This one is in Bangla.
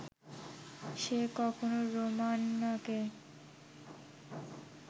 সে কখনো রোমানাকে